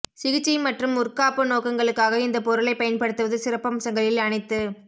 சிகிச்சை மற்றும் முற்காப்பு நோக்கங்களுக்காக இந்த பொருளை பயன்படுத்துவது சிறப்பம்சங்களில் அனைத்து